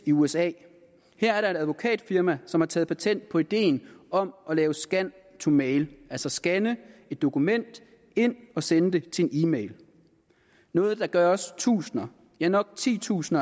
i usa her er der et advokatfirma som har taget patent på ideen om at lave scan to mail altså skanne et dokument ind og sende det til en e mail noget der gøres tusind ja nok titusind